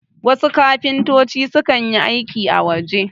wasu kafintoci sukan yi aiki a waje